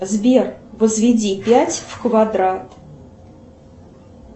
сбер возведи пять в квадрат